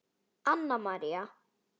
Anna María